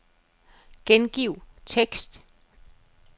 Gengiv tekst.